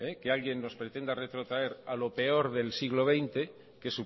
que alguien nos pretenda retrotraer a lo peor del siglo veinte que